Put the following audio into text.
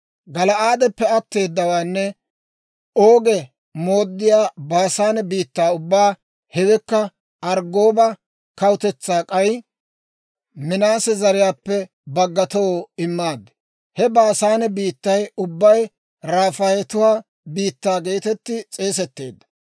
Gala'aadeppe atteedawaanne Oogi mooddiyaa Baasaane biittaa ubbaa, hewekka Arggooba kawutetsaa k'ay Minaase zariyaappe baggatoo immaad. (He Baasaane biittay ubbay Rafaayetuwaa biittaa geetetti s'eesetteedda.